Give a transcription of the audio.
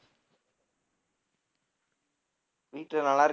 வீட்டுல நல்லா இரு~